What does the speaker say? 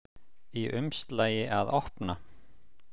Í umslagi að opna.